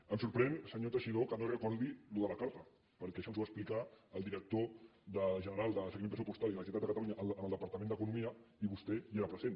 em sorprèn senyor teixidó que no recordi això de la carta perquè això ens ho va explicar el director general de seguiment pressupostari de la generalitat de catalunya en el departament d’economia i vostè hi era present